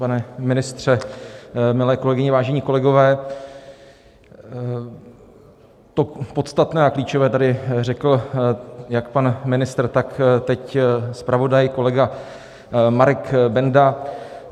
Pane ministře, milé kolegyně, vážení kolegové, to podstatné a klíčové tady řekl jak pan ministr, tak teď zpravodaj, kolega Marek Benda.